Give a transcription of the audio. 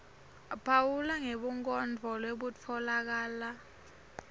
phawula ngebunkondlo lobutfolakala